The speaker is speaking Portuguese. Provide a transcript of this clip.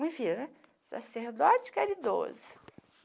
Me vira, sacerdote caridoso.